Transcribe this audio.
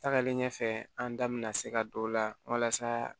Tagalen ɲɛfɛ an da bɛna se ka don o la walasa